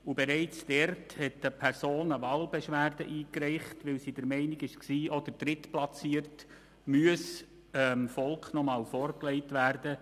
Bereits dort hat eine Person eine Wahlbeschwerde eingereicht, weil sie der Meinung war, auch der Drittplatzierte müssten dem Volk noch einmal vorgelegt werden.